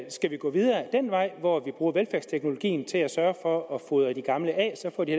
vi gå videre ad den vej hvor vi bruger velfærdsteknologien til at sørge for at fodre de gamle af så får de